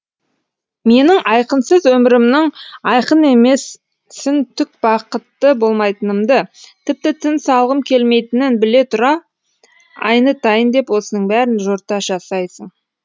менің айқынсыз өмірімнің айқын емесін түк бақытты болмайтынымды тіпті тыныс алғым келмейтінін біле тұра айнытайын деп осының бәрін жорта жасайсың